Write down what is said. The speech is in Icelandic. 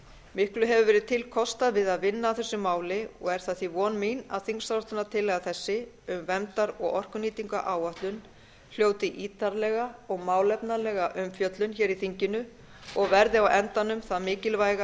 miklu hefur verið til kostað að vinna að þessu máli og er það því von mín að þingsályktunartillaga þessi um verndar og orkunýtingaráætlun hljóti ítarlega og málefnalega umfjöllun í þinginu og verði á endanum það mikilvæga